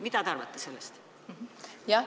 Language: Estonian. Mida te sellest arvate?